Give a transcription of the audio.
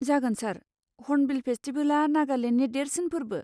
जागोन सार, हर्नबिल फेसटिबेला नागालेन्डनि देरसिन फोर्बो।